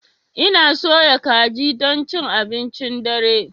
Ina soya kaji don cin abincin dare.